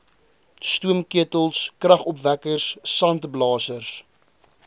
stoomketels kragopwekkers sandblasers